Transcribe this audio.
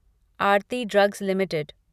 Aarti drugs limited